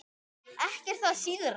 Ekki er það síðra.